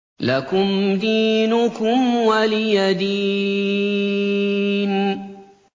لَكُمْ دِينُكُمْ وَلِيَ دِينِ